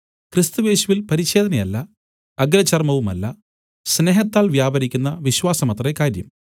ക്രിസ്തുയേശുവിൽ പരിച്ഛേദനയല്ല അഗ്രചർമവുമല്ല സ്നേഹത്താൽ വ്യാപരിക്കുന്ന വിശ്വാസമത്രേ കാര്യം